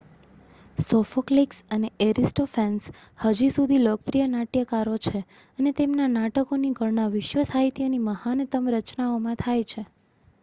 Sophocles અને Aristophanes હજી સુધી લોકપ્રિય નાટ્યકારો છે અને તેમના નાટકોની ગણના વિશ્વ સાહિત્યની મહાનતમ રચનાઓમાં થાય છે